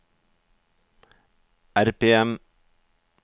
RPM